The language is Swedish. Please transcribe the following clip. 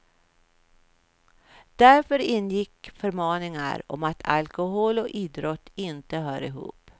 Där ingick förmaningar om att alkolhol och idrott inte hör ihop.